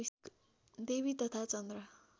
देवी तथा चन्द्र